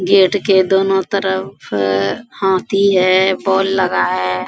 Gate के दोनों तरफ हाथी है बोल लगा है।